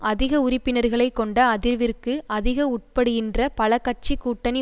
அதிக உறுப்பினர்களை கொண்ட அதிர்விற்கு அதிகம் உட்படுகின்ற பல கட்சி கூட்டணி